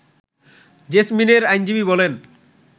জেসমিনের আইনজীবী বলেন